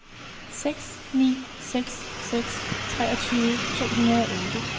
seks ni seks seks treogtyve to hundrede og otte